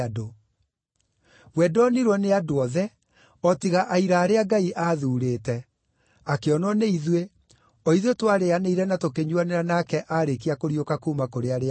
We ndonirwo nĩ andũ othe, o tiga aira arĩa Ngai aathuurĩte: akĩonwo nĩ ithuĩ, o ithuĩ twarĩĩanĩire na tũkĩnyuuanĩra nake aarĩkia kũriũka kuuma kũrĩ arĩa akuũ.